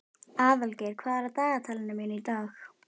Aðalgeir, hvað er á dagatalinu mínu í dag?